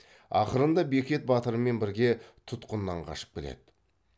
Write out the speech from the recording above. ақырында бекет батырмен бірге тұтқыннан қашып келеді